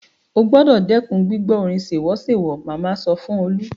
O gbúdọ̀ dẹ́kun gbígbọ́ orin sèwọ́sèwọ́! màmá sọ fún Olú.